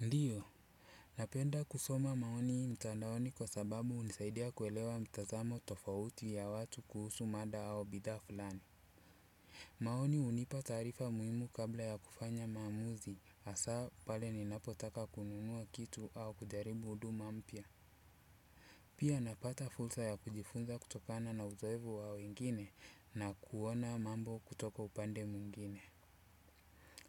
Ndiyo napenda kusoma maoni mitandaoni kwa sababu hunisaidia kuelewa mtazamo tofauti ya watu kuhusu mada au bidhaa fulani. Maoni hunipa taarifa muhimu kabla ya kufanya maamuzi hasa pale ninapotaka kununua kitu au kujaribu mpya. Pia napata fursa ya kujifunza kutokana na uzoefu wa wengine na kuona mambo kutoka upande mwingine.